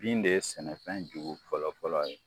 Bin de ye sɛnɛfɛn jugu fɔlɔ-fɔlɔ ye